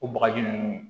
O bagaji nunnu